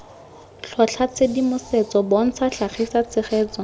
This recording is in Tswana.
tlhotlha tshedimosetso bontsha tlhagisa tshegetso